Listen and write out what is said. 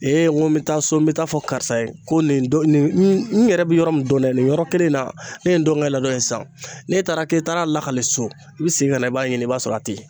Ee n ko n be taa so n be taa fɔ karisa ye ko nin don nin n yɛrɛ be yɔrɔ min don dɛ nin yɔrɔ kelen in na ne ye n dɔn nka ladon sisan n'e taara k'e taara lakale so i bɛ segin ka na i b'a ɲini i b'a sɔrɔ a te yen.